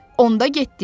Onda getdik.